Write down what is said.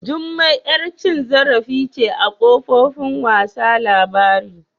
Jummai yar cin zarifi ce a kofofin wasa labari